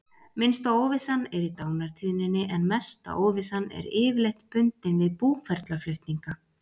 Minnsta óvissan er í dánartíðninni en mesta óvissan er yfirleitt bundin við búferlaflutninga.